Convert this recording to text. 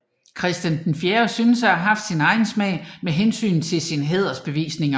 Christian VI synes at have haft en egen smag med hensyn til sine hædersbevisninger